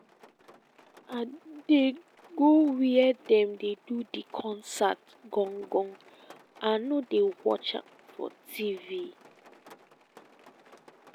i go where dem dey do di concert gon-gon i no dey watch for tv.